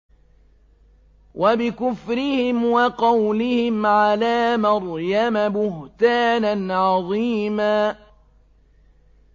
وَبِكُفْرِهِمْ وَقَوْلِهِمْ عَلَىٰ مَرْيَمَ بُهْتَانًا عَظِيمًا